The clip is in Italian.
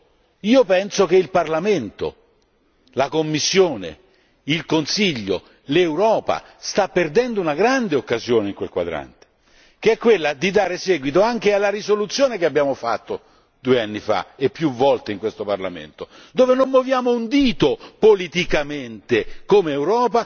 Piuttosto, io penso che il Parlamento, la Commissione, il Consiglio, l'Europa stiano perdendo una grande occasione in quel quadrante, che è quella di dare seguito anche alla risoluzione che abbiamo fatto due anni fa e più volte in questo Parlamento, dove non muoviamo un dito politicamente